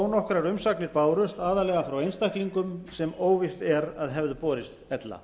nokkrar umsóknir bárust aðallega frá einstaklingum sem óvíst er að hefðu borist ella